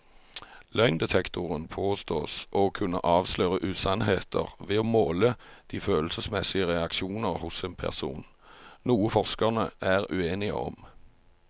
Løgndetektoren påstås å kunne avsløre usannheter ved å måle de følelsesmessige reaksjoner hos en person, noe forskerne er uenige om.